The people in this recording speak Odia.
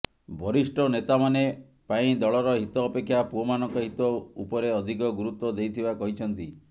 ବରିଷ୍ଠ ନେତାମାନେ ପାଇଁ ଦଳର ହିତ ଅପେକ୍ଷା ପୁଅମାନଙ୍କ ହିତ ଉପରେଅଧିକ ଗୁରତ୍ବ ଦେଇଥିବା କହିଛନ୍ତି